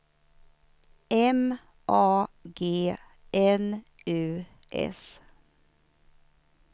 M A G N U S